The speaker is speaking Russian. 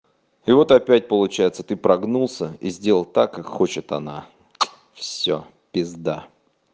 и вот опять получается ты прогнулся и сделал так как хочет она всё пизда